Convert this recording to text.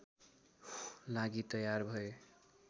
लागि तयार भए